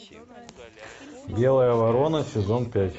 белая ворона сезон пять